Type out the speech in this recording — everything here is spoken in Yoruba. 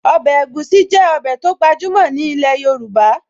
Ọbẹ̀ egusi jẹ́ ọbẹ̀ tó gbajúmọ̀ ní ilẹ̀ Yorùbá